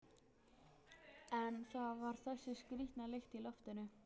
En það var þessi skrýtna lykt í loftinu.